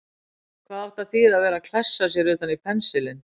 Hvað átti að þýða að vera að klessa sér utan í pensilinn!